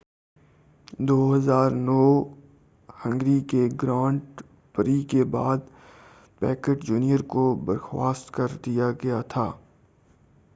2009 کے Hungary grand prix کے بعد پیکیٹ جونیئر کو برخواست کر دیا گیا تھا